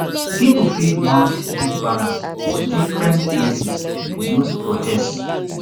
pipo fit mount big banners for different places to use protest